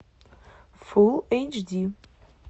фул эйч ди